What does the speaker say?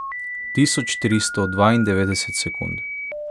Tisoč tristo dvaindevetdeset sekund.